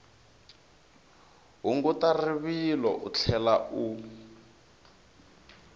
hunguta rivilo u tlhela u